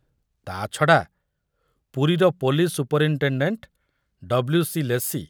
ତାଛଡ଼ା, ପୁରୀର police superintendent W. C. Lacey